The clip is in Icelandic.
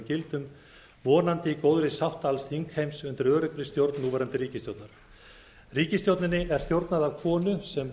gildum vonandi í góðri sátt alls þingheims undir öruggri stjórn núverandi ríkisstjórnar ríkisstjórninni er stjórnað af konu sem